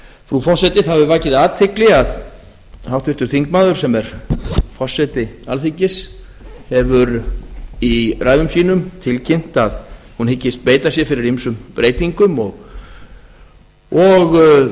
frú forseti það hefur vakið athygli að háttvirtur þingmaður sem er forseti alþingis hefur í ræðum sínum tilkynnt að hún hyggist beita sér fyrir ýmsum breytingum og